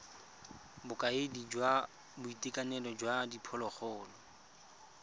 bokaedi jwa boitekanelo jwa diphologolo